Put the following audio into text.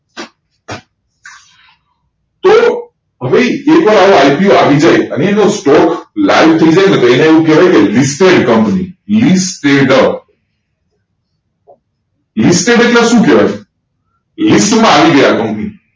તો હવે એક વાર આ IPO આવી જાય અને એનો stock live થયી જાયને તો એને એવું કહેવાય ને listed company listed listed એટલે કે સુ કહેવાય લિસ્ટ માં આવીગયા company